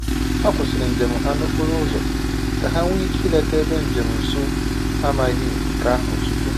Ha kwụsịrị njem ha n’okporo ụzọ ka ha nwee ike ileta ebe njem nsọ ha amaghị nke ahụ tupu.